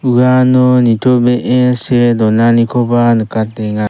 uano nitobee see donanikoba nikatenga.